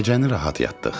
Gecəni rahat yatdıq.